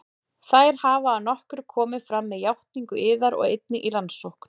Þær hafa að nokkru komið fram með játningu yðar og einnig í rannsókn